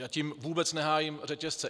A tím vůbec nehájím řetězce.